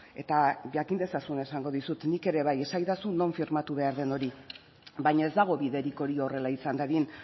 eta jakin dezazun esango dizut nik ere bai esaidazu non firmatu behar den hori baina ez dago biderik hori horrela izan dadin